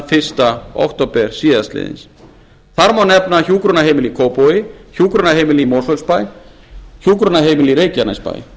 fyrsta október síðastliðinn þar má nefna hjúkrunarheimili í kópavogi hjúkrunarheimili í mosfellsbæ og hjúkrunarheimili í reykjanesbæ